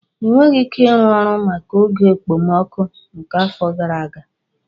Ị nweghị ike ịrụ ụlọ maka oge okpomọkụ nke afọ gara aga.